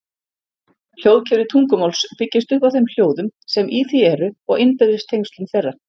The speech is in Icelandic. Hljóðkerfi tungumáls byggist upp á þeim hljóðum sem í því eru og innbyrðis tengslum þeirra.